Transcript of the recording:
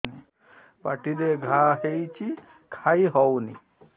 ପାଟିରେ ଘା ହେଇଛି ଖାଇ ହଉନି